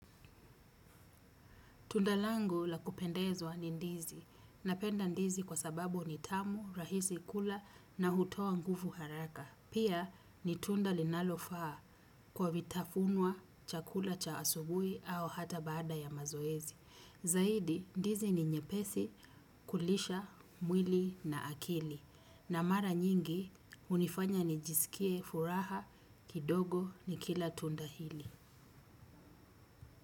Tunda langu la kupendezwa ni ndizi. Napenda ndizi kwa sababu ni tamu, rahisi kula na hutoa nguvu haraka pia ni tunda linalofaa kwa vitafunwa chakula cha asubuhi au hata baada ya mazoezi. Zaidi, ndizi ni nyepesi kulisha, mwili na akili. Na mara nyingi hunifanya nijisikie furaha kidogo nikila tunda hili.